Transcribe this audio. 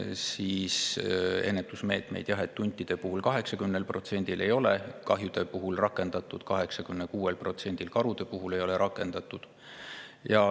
et 80% hundikahjude ja 86% karu puhul ei ole ennetusmeetmeid rakendatud.